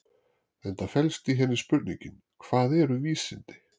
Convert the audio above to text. Enda felst í henni spurningin Hvað eru vísindi?